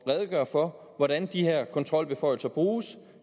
redegør for hvordan de her kontrolbeføjelser bruges